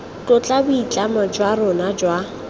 tlotla boitlamo jwa rona jwa